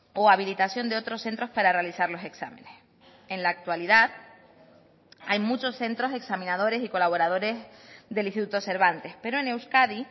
o habilitación de otros centros para realizar los exámenes en la actualidad hay muchos centros examinadores y colaboradores del instituto cervantes pero en euskadi